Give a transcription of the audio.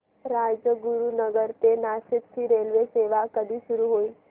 राजगुरूनगर ते नाशिक ची रेल्वेसेवा कधी सुरू होईल